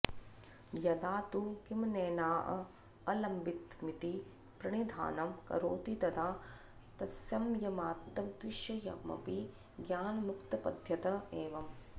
यदा तु किमनेनाऽऽलम्बितमिति प्रणिधानं करोति तदा तत्संयमात्तद्विषयमपि ज्ञानमुत्पद्यत एव